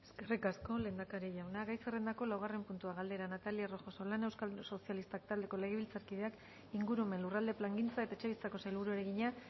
eskerrik asko lehendakari jauna gai zerrendako laugarren puntua galdera natalia rojo solana euskal sozialistak taldeko legebiltzarkideak ingurumen lurralde plangintza eta etxebizitzako sailburuari egina